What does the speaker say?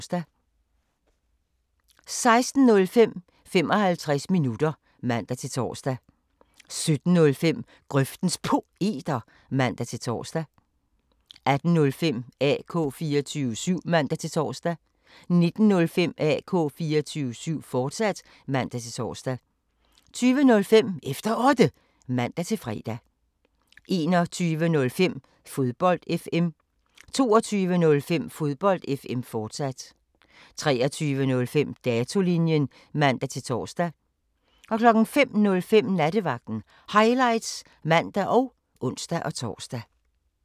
16:05: 55 minutter (man-tor) 17:05: Grøftens Poeter (man-tor) 18:05: AK 24syv (man-tor) 19:05: AK 24syv, fortsat (man-tor) 20:05: Efter Otte (man-fre) 21:05: Fodbold FM 22:05: Fodbold FM, fortsat 23:05: Datolinjen (man-tor) 05:05: Nattevagten Highlights (man og ons-tor)